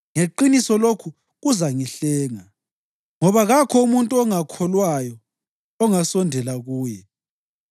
Ngeqiniso lokhu kuzangihlenga, ngoba kakho umuntu ongakholwayo ongasondela kuye!